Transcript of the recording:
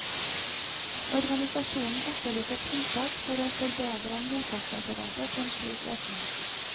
Organisasjonen etterlyser tiltak for å forberede mottaksapparatet på en slik økning.